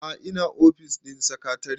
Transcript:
a'a ina ofis ɗin sakatare